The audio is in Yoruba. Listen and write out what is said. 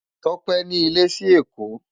Tope ni ilè si Ekó